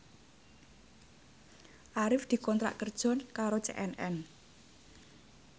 Arif dikontrak kerja karo CNN